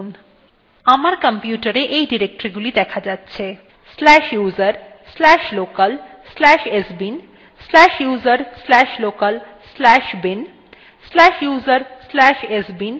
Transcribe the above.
আমার কম্পিউটারএ এই ডিরেক্টরীগুলি দেখা যাচ্ছে